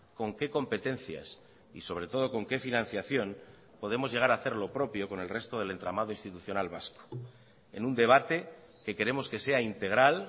con qué competencias y sobre todo con qué financiación podemos llegar a hacer lo propio con el resto del entramado institucional vasco en un debate que queremos que sea integral